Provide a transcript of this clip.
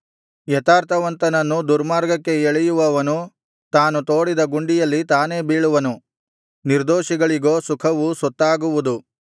ಯಥಾರ್ಥವಂತರನ್ನು ದುರ್ಮಾರ್ಗಕ್ಕೆ ಎಳೆಯುವವನು ತಾನು ತೋಡಿದ ಗುಂಡಿಯಲ್ಲಿ ತಾನೇ ಬೀಳುವನು ನಿರ್ದೋಷಿಗಳಿಗೋ ಸುಖವು ಸೊತ್ತಾಗುವುದು